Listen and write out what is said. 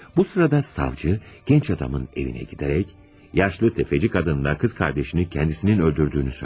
Bu sırada savcı genç adamın evine giderek yaşlı tefeci kadınla kız kardeşini kendisinin öldürdüğünü söyler.